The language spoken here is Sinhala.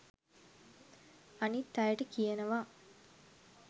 අනිත් අයට කියනවා